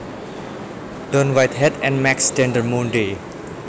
Don Whitehead and Max Dendermonde